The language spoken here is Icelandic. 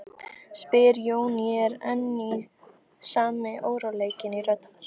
spyr Jón, og enn er sami óróleikinn í rödd hans.